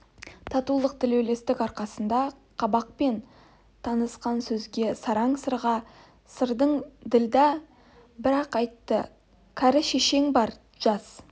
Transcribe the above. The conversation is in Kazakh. татулық тілеулестік арқасында қабақпен танысқан сөзге сараң сырға сырдаң ділдә бір-ақ айтты кәрі шешең бар жас